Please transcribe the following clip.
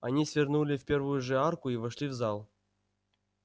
они свернули в первую же арку и вошли в зал